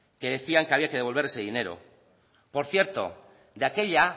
que decían que había que devolver ese dinero por cierto de aquella